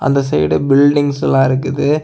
அந்த சைட் பில்டிங்ஸ்லாம் இருக்குது.